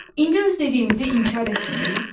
İndi öz dediyimizi inkar etmirik?